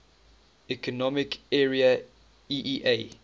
economic area eea